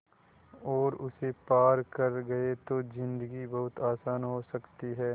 और उसे पार कर गए तो ज़िन्दगी बहुत आसान हो सकती है